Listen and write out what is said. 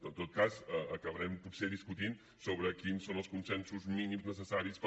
en tot cas acabarem potser discutint sobre quins són els consensos mínims necessaris per